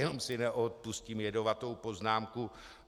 Jenom si neodpustím jedovatou poznámku.